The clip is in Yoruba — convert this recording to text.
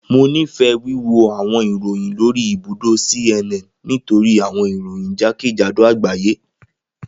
Mo nifẹ wiwo awọn iroyin lori ibudo CNN nitori awọn iroyin jakejado agbaye.